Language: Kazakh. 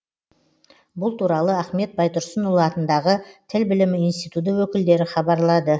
бұл туралы ахмет байтұрсынұлы атындағы тіл білімі институты өкілдері хабарлады